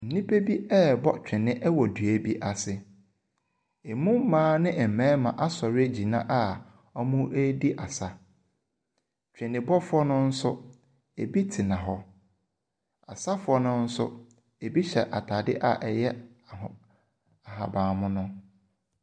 Nnipa bi rebɔ twene wɔ dua bi ase. Emu mmaa ne mmarima asɔre agyina a wɔredi asa. Twenebɔfoɔ no nso, ebi tena hɔ. Asafoɔ no nso, ebi hyɛ atade a ɛyɛ aho ahaban mono.